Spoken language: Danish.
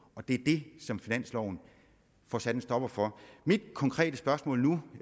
det er det som finansloven får sat en stopper for mit konkrete spørgsmål er nu